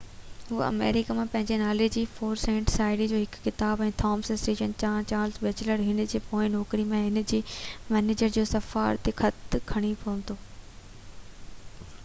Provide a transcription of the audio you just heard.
هُو آمريڪا ۾ پنهنجي نالي تي 4 سينٽ، شاعري جو هڪ ڪتاب، ۽ ٿامس ايڊيسن ڏانهن چارلس بيٽچلر هن جي پوئين نوڪري ۾ هن جي مئنيجر جو سفارشي خط کڻي پهتو